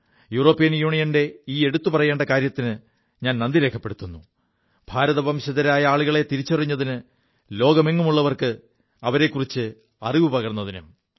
European യൂണിയന്റെ ഈ എടുത്തു പറയേണ്ട കാര്യത്തിന് നന്ദി രേഖപ്പെടുത്തുു ഭാരത വംശജരായ ആളുകളെ തിരിച്ചറിഞ്ഞതിന് ലോകമെങ്ങുമുള്ളവർക്ക് അവരെക്കുറിച്ച് അറിവു പകർതിനും